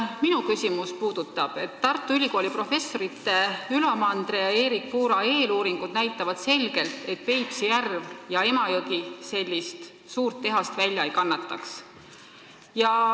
Minu küsimus puudutab seda, et Tartu Ülikooli professorite Ülo Mandre ja Erik Puura eeluuringud näitavad selgelt, et Peipsi järv ja Emajõgi sellist suurt tehast välja ei kannataks.